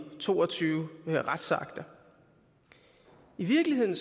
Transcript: to og tyve retsakter i virkeligheden